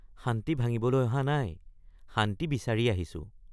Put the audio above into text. শান্তি ভাঙিবলৈ অহা নাই শান্তি বিচাৰি আহিছো।